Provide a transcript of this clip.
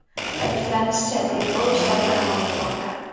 Ta’kidlanishicha, tergov ishlari davom etmoqda.